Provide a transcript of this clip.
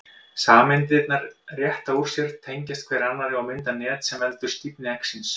Sameindirnar rétta úr sér, tengjast hver annarri og mynda net sem veldur stífni eggsins.